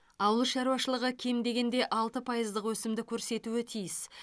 ауыл шаруашылығы кем дегенде алты пайыздық өсімді көрсетуі тиіс